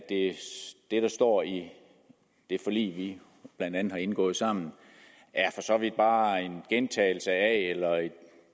det der står i det forlig vi blandt andet har indgået sammen for så vidt bare er en gentagelse af eller et